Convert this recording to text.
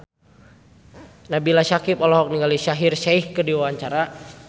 Nabila Syakieb olohok ningali Shaheer Sheikh keur diwawancara